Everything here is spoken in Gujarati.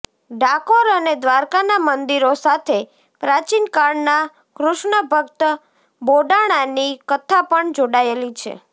ડાકોર અને દ્રારકાના મંદિરો સાથે પ્રાચિનકાળનાં કૃષ્ણભક્ત બોડાણાની કથા પણ જોડાયેલી છે